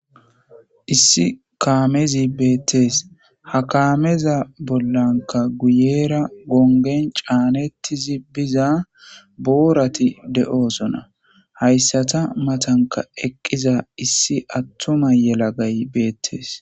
issi kaamezi beettees ha kaameza bollanka guyera gongen caanettizi biza boorati de7oosona hayssata matanka eqqiza issi attuma yela gay beettes